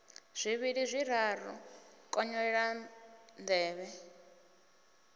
zwivhili zwiraru a konyolela nḓevhe